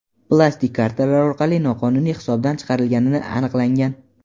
plastik kartalar orqali noqonuniy hisobdan chiqarilgani aniqlangan.